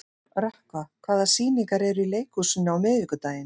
Rökkva, hvaða sýningar eru í leikhúsinu á miðvikudaginn?